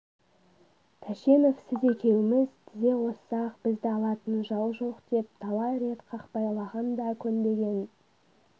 тәшенов сіз екеуіміз тізе қоссақ бізді алатын жау жоқ деп талай рет қақпайлағанда көнбеген